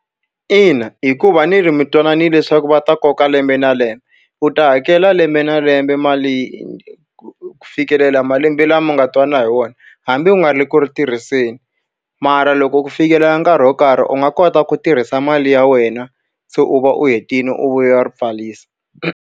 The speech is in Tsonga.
Ina hikuva ni ri mi twananile leswaku va ta koka lembe na lembe, u ta hakela lembe na lembe mali ku fikelela malembe lama mi nga twana hi wona. Hambi u nga ri ku ri tirhiseni, mara loko ku fikelela nkarhi wo karhi u nga kota ku tirhisa mali ya wena, se u va u hetile u vuya u ri pfarisa.